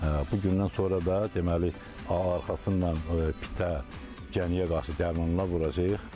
Bu gündən sonra da deməli arxasına pitə, gəniyə qarşı dərmanlar vuracağıq.